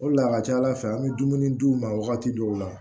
O de la a ka ca ala fɛ an bɛ dumuni d'u ma wagati dɔw la